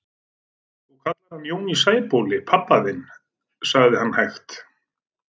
Þú kallar hann Jón í Sæbóli pabba þinn, sagði hann hægt.